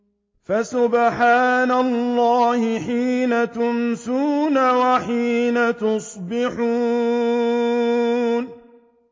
فَسُبْحَانَ اللَّهِ حِينَ تُمْسُونَ وَحِينَ تُصْبِحُونَ